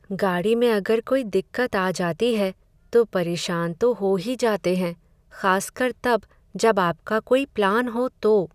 गाड़ी में अगर कोई दिक्कत आ जाती है, तो परेशान तो हो ही जाते हैं, खासकर तब, जब आपका कोई प्लान हों तो।